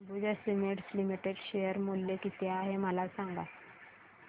Ambuja cements limited share मूल्य किती आहे मला सांगा